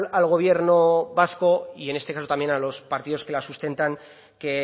al gobierno vasco y en este caso también a los partidos que lo sustentan que